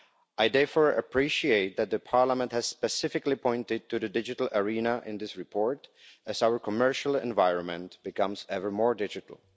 I therefore appreciate that the Parliament has specifically pointed to the digital arena in this report as our commercial environment becomes ever more digital.